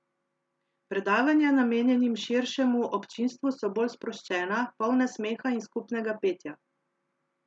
Predavanja namenjenim širšemu občinstvu so bolj sproščena, polna smeha in skupnega petja.